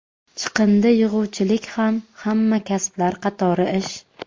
Chiqindi yig‘uvchilik ham hamma kasblar qatori ish.